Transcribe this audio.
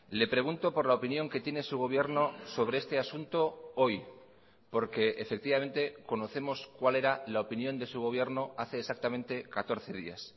le pregunto por la opinión que tiene su gobierno sobre este asunto hoy porque efectivamente conocemos cuál era la opinión de su gobierno hace exactamente catorce días